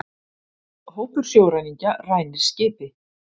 Hópur sjóræningja rænir skipi